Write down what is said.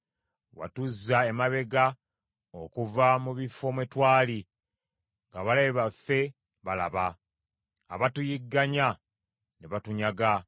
Watuzza emabega okuva mu bifo mwe twali ng’abalabe baffe balaba, abatuyigganya ne batunyaga.